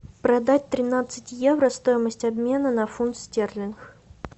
продать тринадцать евро стоимость обмена на фунт стерлинг